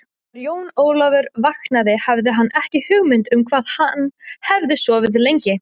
Þegar Jón Ólafur vaknaði hafði hann ekki hugmynd um hvað hann hafði sofið lengi.